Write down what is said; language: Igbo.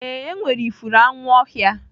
Ee, enwere ifuru anwu ọhịa